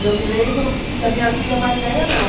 E eu me lembro que a minha filha mais velha não.